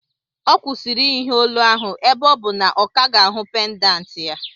Ọ kwụsịrị iyi ihe olu ahụ ebe ọ bụ na ọ ka ga-ahụ na ọ pendant.